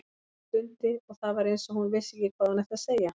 Hún stundi og það var eins og hún vissi ekki hvað hún ætti að segja.